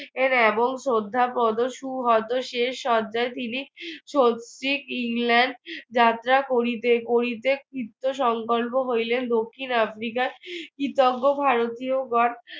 এর এবং শ্রদ্ধা হয়তো শেষ শয্যায় তিনি ইংল্যান্ড যাত্রা করিতে করিতে কৃত্ত সংকল্প হইলেন দক্ষিণ আফ্রিকায় কৃতজ্ঞ ভারতীয়গন